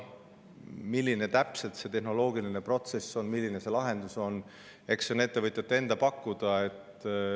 Milline täpselt see tehnoloogiline protsess on, milline on lahendus, eks see on ettevõtjate enda pakkuda.